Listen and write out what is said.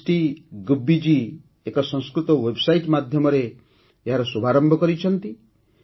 ସମଷ୍ଟି ଗୁବିଜୀ ଏକ ସଂସ୍କୃତ ୱେବସାଇଟ ମାଧ୍ୟମରେ ଏହାର ଶୁଭାରମ୍ଭ କରିଛନ୍ତି